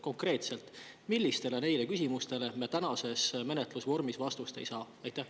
Konkreetselt millistele neist küsimustest me tänases menetlusvormis vastust ei saa?